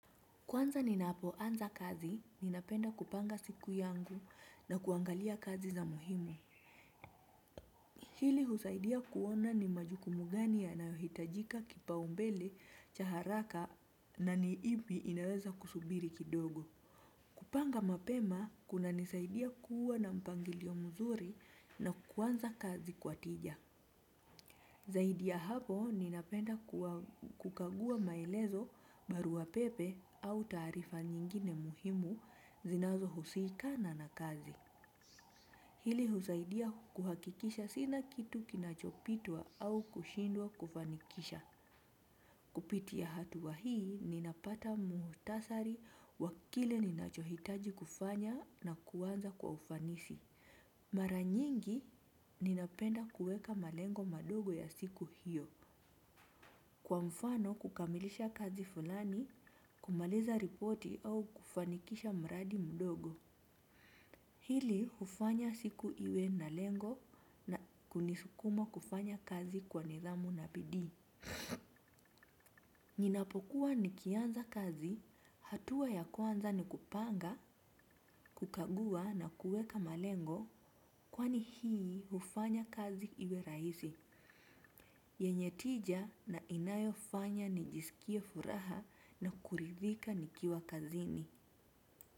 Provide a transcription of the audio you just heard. Kwanza ninapoanza kazi, ninapenda kupanga siku yangu na kuangalia kazi za muhimu. Hili husaidia kuona ni majukumu gani yanayohitajika kipaumbele cha haraka na ni ipi inaweza kusubiri kidogo. Kupanga mapema, kunanisaidia kuwa na mpangilio mzuri na kuanza kazi kwatija. Zaidi y hapo, ninapenda kukagua maelezo barua pepe au taarifa nyingine muhimu zinazo husiikana na kazi. Hili husaidia kuhakikisha sina kitu kinachopitwa au kushindwa kufanikisha. Kupitia hatua hii, ninapata muhutasari wakile ninachohitaji kufanya na kuanza kwa ufanisi. Mara nyingi, ninapenda kuweka malengo madogo ya siku hiyo. Kwa mfano kukamilisha kazi fulani, kumaliza ripoti au kufanikisha mradi mudogo. Hili hufanya siku iwe na lengo na kunisukuma kufanya kazi kwa nidhamu na bidii. Ninapokuwa nikianza kazi, hatua ya kwanza ni kupanga, kukagua na kuweka malengo, kwani hii hufanya kazi iwe rahisi yenye tija na inayo fanya ni jisikie furaha na kuridhika nikiwa kazini.